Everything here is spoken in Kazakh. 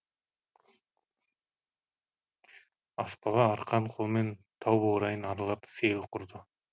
аспалы арқан қолмен тау баурайын аралап сейіл құрды